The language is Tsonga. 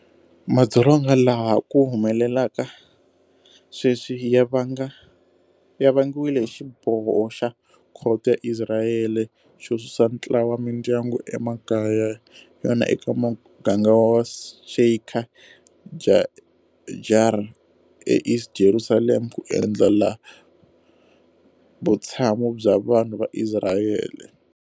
Madzolonga lawa ha ku humelelaka sweswi ya vangiwile hi xiboho xa khoto ya Isirayele xo susa ntlawa wa mindyangu emakaya ya yona eka muganga wa Sheikh Jarrah eEast Jerusalem ku endlela vutshamo bya vanhu va Isirayele.